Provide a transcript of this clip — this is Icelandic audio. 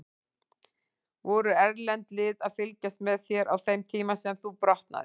Voru erlend lið að fylgjast með þér á þeim tíma sem þú brotnaðir?